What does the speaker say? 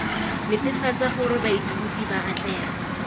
netefatsang gore baithuti ba atlega